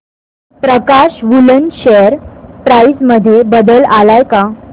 प्रकाश Woollen share price मध्ये बदल आलाय का